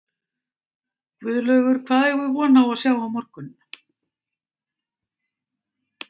Guðlaugur, hvað eigum við von á að sjá á morgun?